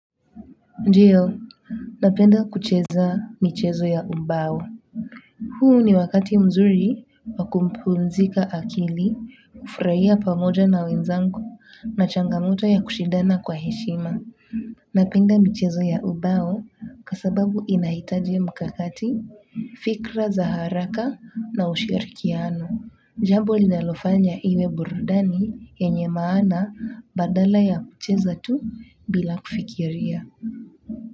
Ndiyo, napenda kucheza michezo ya ubao huu ni wakati mzuri wa kupumzika akili kufurahia pamoja na wenzangu na changamoto ya kushindana kwa heshima. Napenda michezo ya ubao kwa sababu inahitaji mkakati, fikra za haraka na ushirikiano. Jambo linalofanya iwe burudani yenye maana badala ya kucheza tu bila kufikiria.